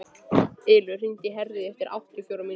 Ylur, hringdu í Herríði eftir áttatíu og fjórar mínútur.